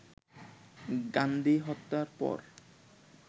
গান্ধীহত্যার পর